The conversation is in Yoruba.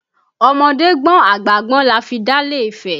Ọmọdé gbọ́n àgbà gbọ́n la fi dálẹ̀ ifẹ̀